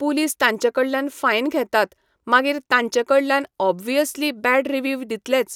Police तांचे कडल्यान fine घेतात मागीर तांचे कडल्यान ऑब्वीयसली बॅड रिवीव दितलेच.